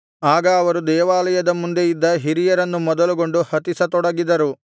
ಆಗ ಅವರು ದೇವಾಲಯದ ಮುಂದೆ ಇದ್ದ ಹಿರಿಯರನ್ನು ಮೊದಲುಗೊಂಡು ಹತಿಸತೊಡಗಿದರು